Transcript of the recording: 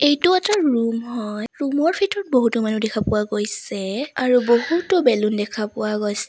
এইটো এটা ৰূম হয় ৰুম ৰ ভিতৰত বহুতো মানুহ দেখা পোৱা গৈছে আৰু বহুতো বেলুন দেখা পোৱা গৈছে।